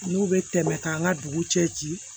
N'u bɛ tɛmɛ k'an ka dugu cɛ ci